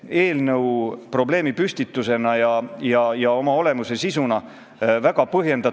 2001. aasta rahvaloendus näitas, et teiskeelsete inimeste seas eesti keele oskus on ainult 38%.